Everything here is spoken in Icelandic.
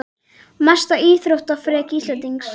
Mesta íþróttaafrek Íslendings?